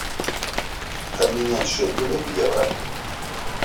обменять шекели в евро